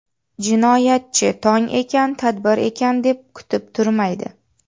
Jinoyatchi tong ekan, tadbir ekan, deb kutib turmaydi.